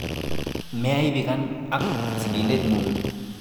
Meaibikan ak sigindet ng'ung'.